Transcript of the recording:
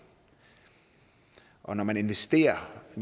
og når man investerer